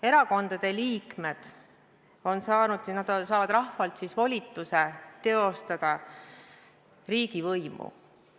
Erakondade liikmed on saanud rahvalt volituse teostada riigivõimu.